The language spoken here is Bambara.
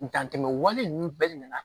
Dan tɛmɛ wale ninnu bɛɛ de nana